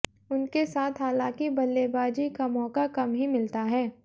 उनके साथ हालांकि बल्लेबाजी का मौका कम ही मिलता है